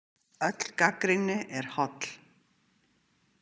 Öll gagnrýni er holl.